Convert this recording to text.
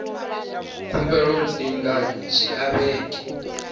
khumbelo dzi nga dzhia vhege